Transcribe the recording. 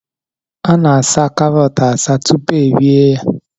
Ana-asaa karọt asaa tupu erie ya